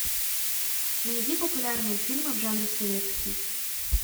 найди популярные фильмы в жанре советский